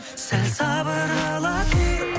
сәл сабыр қыла тұр